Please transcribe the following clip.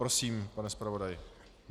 Prosím, pane zpravodaji.